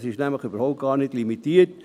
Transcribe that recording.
das ist nämlich überhaupt nicht limitiert.